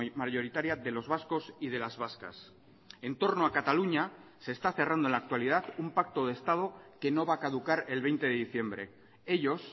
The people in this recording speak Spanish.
mayoritaria de los vascos y de las vascas en torno a cataluña se está cerrando en la actualidad un pacto de estado que no va a caducar el veinte de diciembre ellos